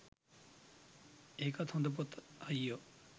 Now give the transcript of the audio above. ඒකත් හොඳ පොත අයියෝ